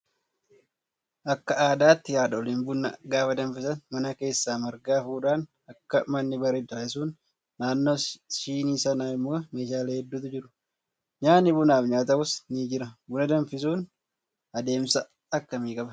Akka aadaatti haadholiin buna gaafa danfisan mana keessa marga hafuudhaan akka manni bareedu taasisuun naannoo shiinii sanaa immoo meeshaalee hedduutu jiru. Nyaatni bunaaf nyaatamus ni jira. Buna danfisuun adeemsa akkamii qabaa?